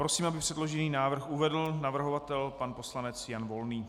Prosím, aby předložený návrh uvedl navrhovatel pan poslanec Jan Volný.